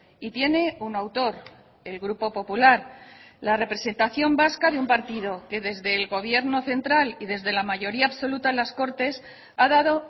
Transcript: y tiene un autor el grupo popular la representación vasca de un partido que desde el gobierno central y desde la mayoría absoluta en las cortes ha dado